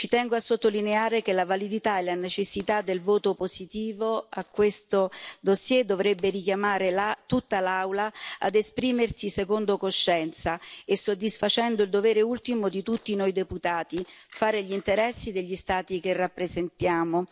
Ci tengo a sottolineare che la validità e la necessità del voto positivo a questo dossier dovrebbe richiamare tutta l'Aula ad esprimersi secondo coscienza e soddisfacendo il dovere ultimo di tutti noi deputati di fare gli interessi degli Stati che rappresentiamo.